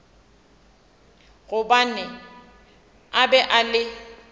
gobane a be a le